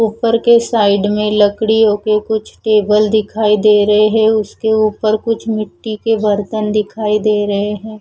ऊपर के साइड में लकड़ियों के कुछ टेबल दिखाई दे रहे है उसके ऊपर कुछ मिट्टी के बर्तन दिखाई दे रहे हैं।